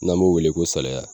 N'an b'o wele ko salaya